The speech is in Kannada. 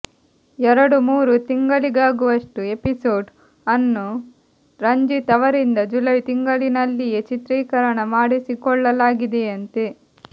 ಎರಡು ಮೂರು ತಿಂಗಳಿಗಾಗುವಷ್ಟು ಎಪಿಸೋಡ್ ಅನ್ನು ರಂಜಿತ್ ಅವರಿಂದ ಜುಲೈ ತಿಂಗಳಿನಲ್ಲಿಯೇ ಚಿತ್ರೀಕರಣ ಮಾಡಿಸಿಕೊಳ್ಳಲಾಗಿದೆಯಂತೆ